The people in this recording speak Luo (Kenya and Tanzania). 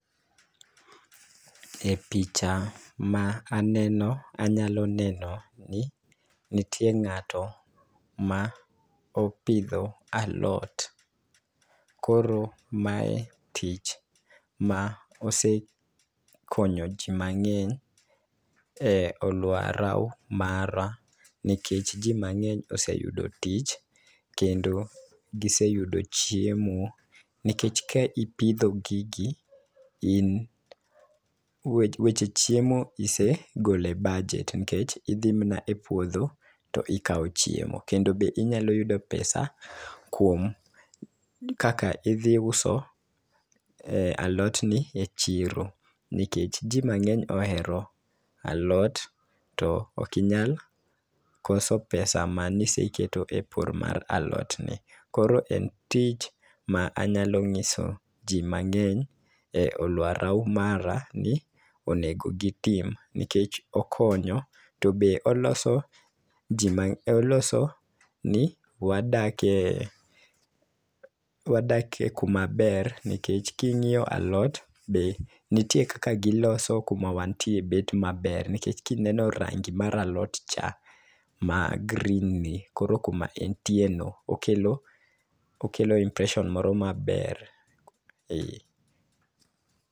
E picha ma aneno anyalo neno ni nitie ng'ato ma opidho alot. Koro mae tich ma osekonyo jii mang'eny e aluora mara nikech ji mang'eny oseyudo tich kendo giseyudo chiemo nikech ka ipidho gigi , in weche chiemo isegole bajet nikech idhi mna e puodho to ikawo chiemo. Kendo be inyalo yudo pesa kuom kaka idhi uso e alot ni e chiro, nikech jii mang'eny ohero alot to ok inyal koso pesa ma niseketo e pur mar alot ni. Koro en tich ma anyalo ng'iso ji mang'eny e aluora mara ni onego gitim nikech okonyo. To be oloso jii mang'eny oloso ni wadake wadake kuma ber nikech king'iyo alot be nitie kaka giloso kuma wantie bet maber nikech kineno rangi mar alot cha ma green ni koro kuma entie no okelo impression moro maber.